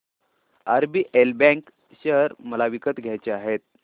RBL bank share मला विकत घ्यायचे आहेत